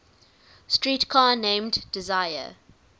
streetcar named desire